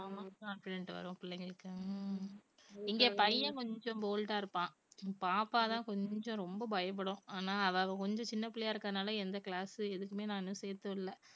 ஆமாம் confident வரும் பிள்ளைகளுக்கு. ஹம் இங்க பையன் கொஞ்சம் bold ஆ இருப்பான் பாப்பா தான் கொஞ்சம் ரொம்ப பயப்படும் ஆனா அவ கொஞ்சம் சின்ன பிள்ளையா இருக்கிறதால எந்த class உ எதுக்குமே நான் சேர்த்து விடல